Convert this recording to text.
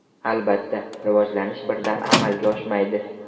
Albatta, rivojlanish birdan amalga oshmaydi.